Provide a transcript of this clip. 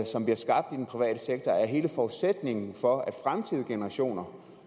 hele forudsætningen for at fremtidige generationer